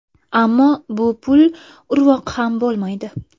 Ammo bu pul urvoq ham bo‘lmaydi.